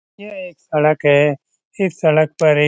यह एक सड़क है इस सड़क पर ए --